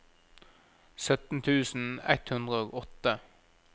sytten tusen ett hundre og åtte